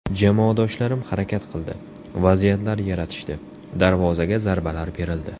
Jamoadoshlarim harakat qildi, vaziyatlar yaratishdi, darvozaga zarbalar berildi.